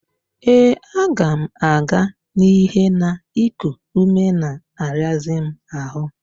Ee, aga m aga n'ihe na iku ume na-arazị m ahụ